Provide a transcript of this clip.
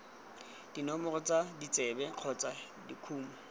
dinomoro tsa ditsebe kgotsa dikumo